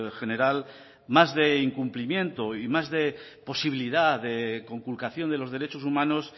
general más de incumplimiento y más de posibilidad de conculcación de los derechos humanos